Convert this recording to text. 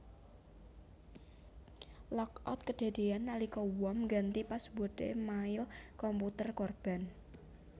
Lockout kedadéan nalika worm ngganti password e mail komputer korban